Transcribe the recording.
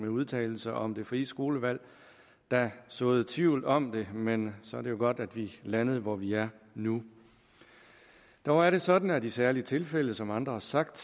udtalelse om det frie skolevalg der såede tvivl om det men så er det jo godt at vi landede der hvor vi er nu dog er det sådan at det i særlige tilfælde som andre har sagt